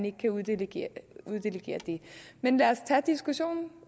ikke kan uddelegere det men lad os tage diskussionen